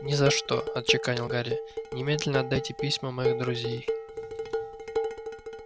ни за что отчеканил гарри немедленно отдайте письма моих друзей